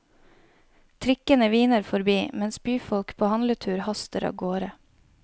Trikkene hviner forbi, mens byfolk på handletur haster av gårde.